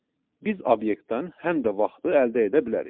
Biz obyektdən həm də vaxtı əldə edə bilərik.